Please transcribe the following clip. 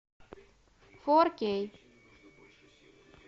фор кей